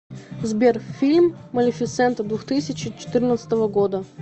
сбер фильм малефисента двухтысячи четырнадцатого года